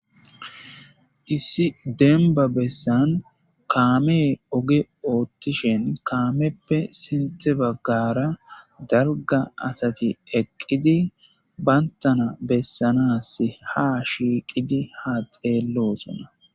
issi denba bessan kaame oge oottishen kaameppe sente baggara darga asati eqqidi bayntana bessanas ha shiiqidi ha xeellosona